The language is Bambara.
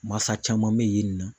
Masa caman bɛ yen nɔ